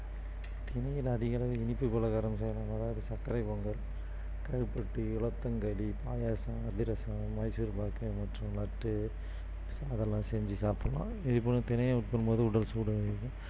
தினையில் அதிகளவு இனிப்பு பலகாரம் செய்யலாம் அதாவது சர்க்கரை பொங்கல் கருப்பட்டி பாயசம் அதிரசம் மைசூர் பாக்கு மற்றும் லட்டு அதெல்லாம் செஞ்சு சாப்பிடலாம் இதே போல தினையை உட்கொள்ளும் போது உடல் சூடு